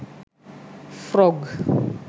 frog